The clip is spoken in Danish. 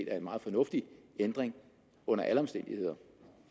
er en meget fornuftig ændring under alle omstændigheder